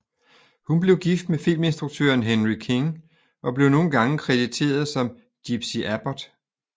Hun blev gift med filminstruktøren Henry King og blev nogle gange krediteret som gypsie Abbott